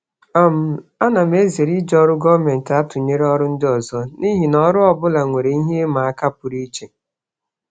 um Ana m ezere iji ọrụ gọọmentị atụnyere ọrụ ndị ọzọ n'ihi na ọrụ ọ bụla nwere ihe ịma aka pụrụ iche.